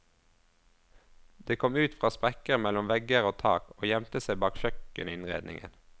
De kom ut fra sprekker mellom vegger og tak, og gjemte seg bak kjøkkeninnredningen.